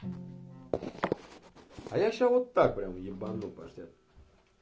а я всё так ебану паштет